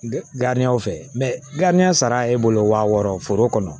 fɛ sara e bolo wa wɔɔrɔ foro kɔnɔ